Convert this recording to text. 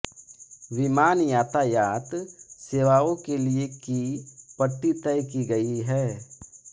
विमान यातायात सेवाओं के लिए की पट्टी तय की गई है